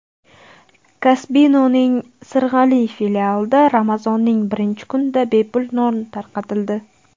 Kasbino‘ning Sirg‘ali filialida Ramazonning birinchi kunida bepul non tarqatildi.